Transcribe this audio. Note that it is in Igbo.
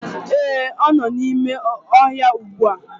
Ee, ọ nọ n'ime ọhịa ugbu a!